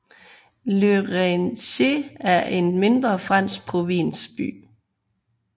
Le Raincy er en mindre fransk provinsby